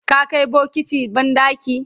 ka Kai bokati banɗaki?